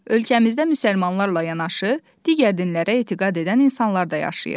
Ölkəmizdə müsəlmanlarla yanaşı digər dinlərə etiqad edən insanlar da yaşayır.